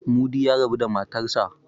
Mudi ya rabu da matarsa.